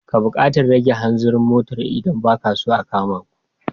Ka buƙatar rage hanzarin motar idan ba ka so a kama ku.